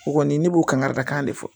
O kɔni ne b'o kangari dakan de fɔ